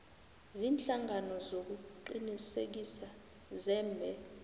ziinhlangano zokuqinisekisa zebee